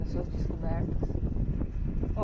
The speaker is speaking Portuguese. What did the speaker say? Das suas descobertas?